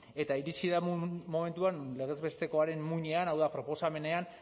eta iritsi da momentu bat non legez bestekoaren muinean hau da proposamenean